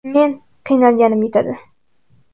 Men qiynalganim yetadi.